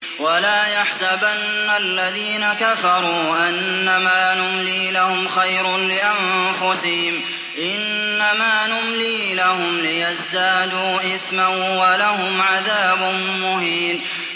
وَلَا يَحْسَبَنَّ الَّذِينَ كَفَرُوا أَنَّمَا نُمْلِي لَهُمْ خَيْرٌ لِّأَنفُسِهِمْ ۚ إِنَّمَا نُمْلِي لَهُمْ لِيَزْدَادُوا إِثْمًا ۚ وَلَهُمْ عَذَابٌ مُّهِينٌ